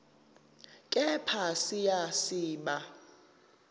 kepha siya siba